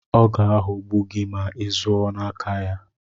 Ọ ga-aghogbu gị ma izụọ n'aka ya.